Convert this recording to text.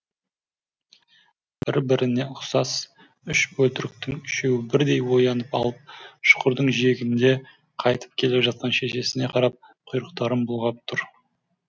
бір біріне ұқсас үш бөлтіріктің үшеуі бірдей оянып алып шұқырдың жиегінде қайтып келе жатқан шешесіне қарап құйрықтарын бұлғап тұр